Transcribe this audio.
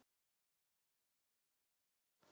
Við getum aðeins andað núna.